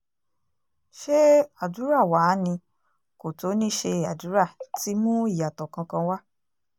ṣé àdúrà wàá ni kò tó ní ṣe àdúrà ti mú ìyàtọ̀ kankan wá